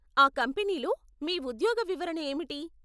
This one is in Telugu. ఆ కంపెనీలో మీ ఉద్యోగ వివరణ ఏమిటి?